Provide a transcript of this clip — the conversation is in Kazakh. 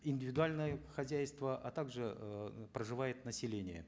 индивидуальные хозяйства а также э проживает население